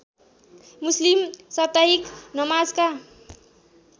मुस्लिम साप्ताहिक नमाजका